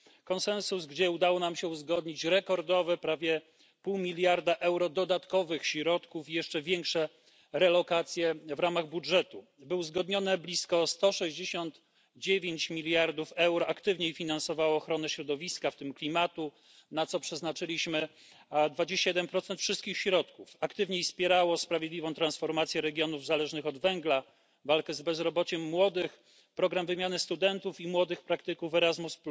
Konsensus, gdzie udało nam się uzgodnić rekordowe prawie pół miliarda euro dodatkowych środków i jeszcze większe relokacje w ramach budżetu, by uzgodnione blisko 169 miliardów euro aktywniej finansowało ochronę środowiska, w tym klimatu, na co przeznaczyliśmy 21 wszystkich środków, aktywniej wspierało sprawiedliwą transformację regionów zależnych od węgla, walkę z bezrobociem młodych, program wymiany studentów i młodych praktyków Erasmus,